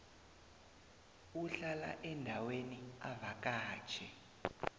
uhlala endaweni avakatjhe